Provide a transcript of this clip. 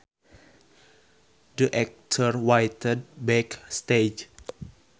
The actors waited back stage